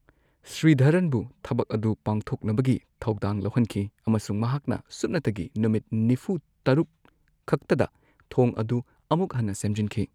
ꯁ꯭ꯔꯤꯙꯔꯟꯕꯨ ꯊꯕꯛ ꯑꯗꯨ ꯄꯥꯡꯊꯣꯛꯅꯕꯒꯤ ꯊꯧꯗꯥꯡ ꯂꯧꯍꯟꯈꯤ ꯑꯃꯁꯨꯡ ꯃꯍꯥꯛꯅ ꯁꯨꯞꯅꯇꯒꯤ ꯅꯨꯃꯤꯠ ꯅꯤꯐꯨ ꯇꯔꯨꯛ ꯈꯛꯇꯗ ꯊꯣꯡ ꯑꯗꯨ ꯑꯃꯨꯛ ꯍꯟꯅ ꯁꯦꯝꯖꯤꯟꯈꯤ꯫